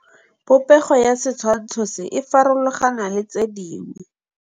Popêgo ya setshwantshô se, e farologane le tse dingwe.